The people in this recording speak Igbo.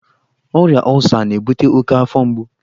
Ọrịa ọlsa na-ebute oke afọ mgbu.